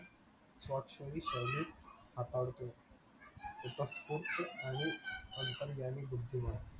स्वाक्षरी सहित हातावरती केली अंतर्यामी बुद्धीमान